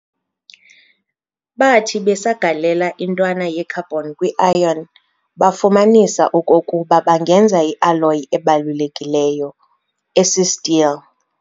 Bathi besagalela intwana ye-carbon kwi-iron, bafumanisa okokuba bangenza i-alloy ebalulekileyo - esi-steel.